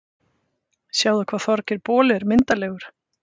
Sjáðu hvað Þorgeir boli er myndarlegur